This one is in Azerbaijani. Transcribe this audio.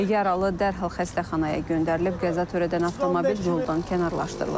Yaralı dərhal xəstəxanaya göndərilib, qəza törədən avtomobil yoldan kənarlaşdırılıb.